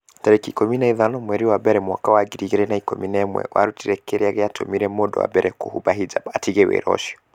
tarĩki ikũmi na ithano mweri wa mbere mwaka wa ngiri igĩrĩ na ikũmi na ĩmweWĩrute kĩrĩa gĩatũmire mũndũ wa mbere kũhumba hijab 'atige wĩra ũcio.